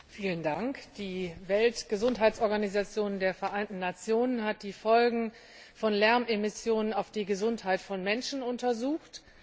Herr Präsident! Die Weltgesundheitsorganisation der Vereinten Nationen hat die Folgen von Lärmemissionen auf die Gesundheit von Menschen untersucht.